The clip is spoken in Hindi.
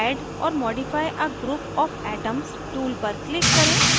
add or modify a group of atoms tool पर click करें